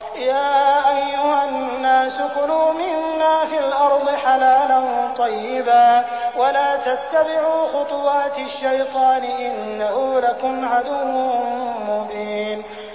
يَا أَيُّهَا النَّاسُ كُلُوا مِمَّا فِي الْأَرْضِ حَلَالًا طَيِّبًا وَلَا تَتَّبِعُوا خُطُوَاتِ الشَّيْطَانِ ۚ إِنَّهُ لَكُمْ عَدُوٌّ مُّبِينٌ